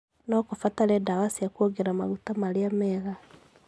No kũbatarĩke ndawa cia kwongerera maguta marĩa mega